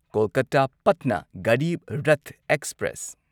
Kolkata Patna Garib Rath express